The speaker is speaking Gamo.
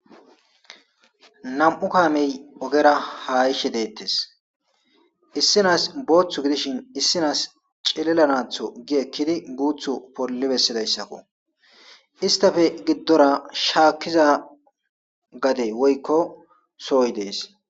Nam'u kaamey ogera haishe deettes issinas booththu gidishin issinaas celelanatho gi ekkidi guuthu pollibessidayssakko istafe giddora shaakiza gade woykko sooy dees.